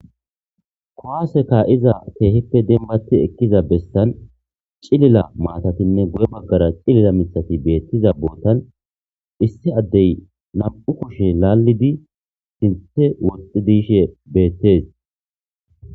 Kowaseka iza teehippe dembati ekkiza bessan cilila maatatinne guye baggara cilila mithati beettiza bootan issi addey nam'u kushe laallidi sinthe woxxi diishe beettes.